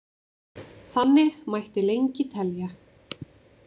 Þannig mætti lengi telja.